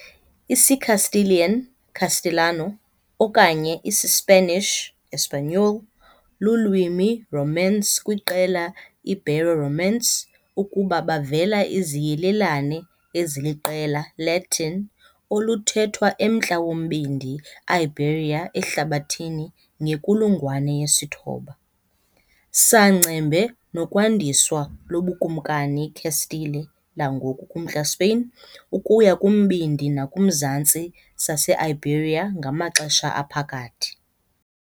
IsiCastilian, castellano, okanye IsiSpanish, español, lulwimi Romance kwiqela Ibero-Romance ukuba bavela iziyelelane eziliqela Latin oluthethwa emntla wombindi Iberia ehlabathini ngenkulungwane yesithoba. saa ngcembe nokwandiswa loBukumkani Castile, langoku kumntla Spain, ukuya kumbindi nakumzantsi saseIberia ngamaXesha Aphakathi.